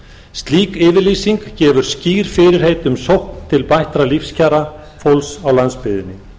slík yfirlýsing gefur skýr fyrirheit um sókn til bættra lífskjara fólks á landsbyggðinni þá er ákveðið að störf á